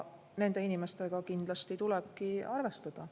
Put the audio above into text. Nende inimestega kindlasti tulebki arvestada.